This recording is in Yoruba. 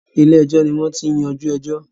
Ilé ẹjọ́ ni wọ́n ti ń yajú ẹjọ́.